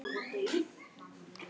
Ég sá ekki tilganginn.